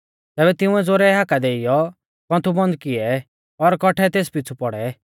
तैबै तिंउऐ ज़ोरै हाका देइऔ कौन्थु बन्द किऐ और कौट्ठै तेस पिछ़ु पौड़ै